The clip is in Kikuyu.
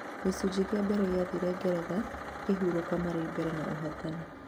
Gĩcunjĩ kĩa mbere gĩathirire ngeretha ĩkĩhurũka marĩ mbere na ũhotani